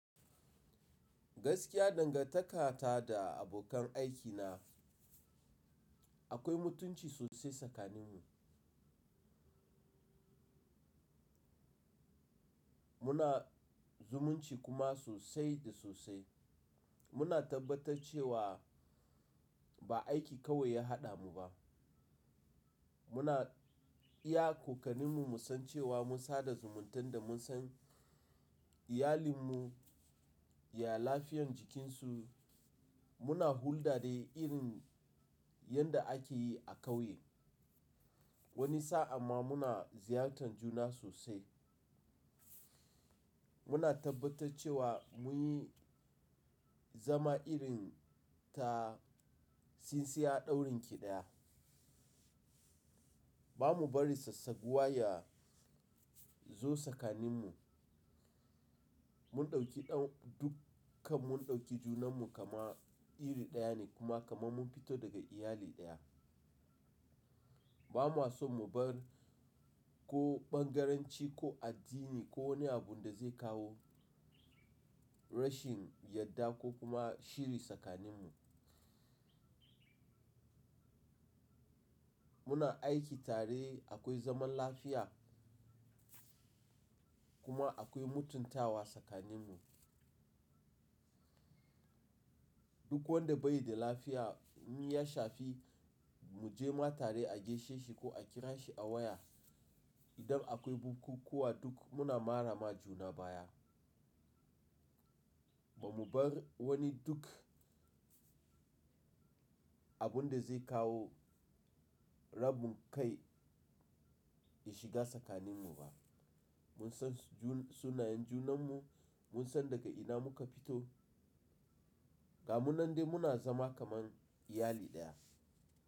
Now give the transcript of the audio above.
Gaskiya dangantakata da abokan aikina akwai mutunci sosai sakaninmu. Muna zumunci kuma sosai da sosai. Muna tabbatar cewa ba aiki kawai ya haɗa mu ba. Muna iya kokarinmu mu san cewa mun sada zumuntan da mun san iyalinmu, ya lafiyan jikinsu. Muna hulɗa dai irin yanda ake yi a ƙauye. Wani sa'a ma muna ziyartar juna sosai. Muna tabbatar cewa mun yi zama irin ta tsintsiya ɗaurin ƙi daya. Ba mu bari sassaguwa ya zo sakaninmu. Mun ɗauki ɗan dukkan mun ɗauki junanmu kama iri ɗaya ne kuma kamar mun fito daga iyali ɗaya. Ba ma so mu bar ko ɓangaranci ko addini ko wani abun da zai kawo rashin yadda ko kuma shiri tsakaninmu. Muna aiki tare akwai zaman lafiya kuma akwai mutuntawa tsakaninmu. Duk wanda bai da lafiya in ya shafi muje ma tare a gaishe shi ko a kira shi a waya. Idan akwai bukukuwa duk muna marama juna baya. Ba mu bar wani duk abun da zai kawo rabun kai ya shiga sakaninmu ba. Mun san sunayen junanmu, mun san daga ina muka fito. Ga mu nan dai muna zama kamar iyali ɗaya.